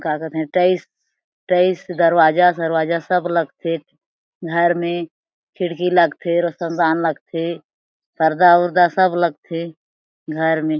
का कथे टईस टईस दरवाजा सरवाजा सब लग थे घर मे खिड़की लगथे रोशनदान लगथे पर्दा ऊरधा सब लग थे घर मे--